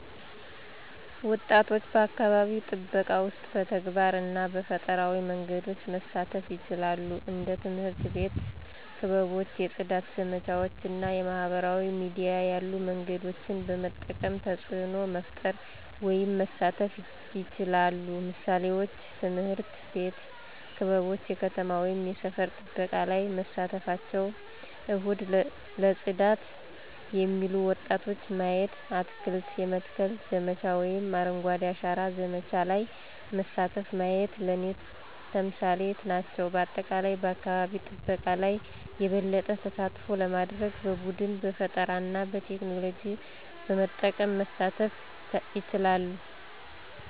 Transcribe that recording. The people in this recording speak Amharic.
ወጣቶች በአካባቢ ጥበቃ ውስጥ በተግባር እና በፈጠራዊ መንገዶች መሳተፉ ይችላሉ። እንደ ትምህርት አቤት ክበቦች የፅዳት ዘመቻዎች እና የማህበራዊ ሚዲያ ያሉ መንገዶችን በመጠቀም ተፅዕኖ መፈጠር ወይም መሳተፍ ይችላሉ። ምሳሌዎች፦ ትምህርት ቤት ክበቦች የከተማ ወይም የሰፈር ጥበቃ ላይ መሳተፍቸው፣ እሁድ ለጽዳት የሚሉ ወጣቶች ማየቲ፣ አትክልት የመትከል ዘመቻ ወይም አረንጓዴ አሻራ ዘመቻ ለይ መሳተፉ ማየት ለኔ ተምሳሌት ናቸው። በአጠቃላይ በአካባቢ ጠበቃ ለይ የበለጠ ተሳትፎ ለማድርግ በቡድን፣ በፈጠራና በቴክኖሎጂ በመጠቀም መሳተፍ ይቻላሉ።